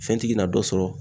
Fɛntigi na na dɔ sɔrɔ